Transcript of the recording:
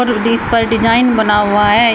इस पर डिजाइन बना हुआ है।